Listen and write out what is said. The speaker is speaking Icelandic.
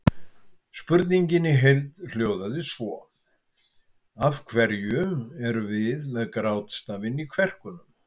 Spurningin í heild sinni hljóðaði svo: Af hverju erum við með grátstafinn í kverkunum?